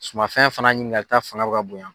Sumafɛn fana ɲininkalita fanga bɛ ka bonya.